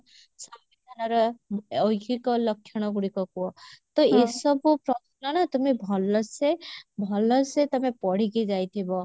ସମ୍ବିଧାନର ଐହିକ ଲକ୍ଷଣ ଗୁଡିକ କୁହ ତ ଏସବୁ ପ୍ରଶ୍ନନା ତୁମେ ଭଲସେ ଭଲସେ ତମେ ପଢିକି ଯାଇଥିବ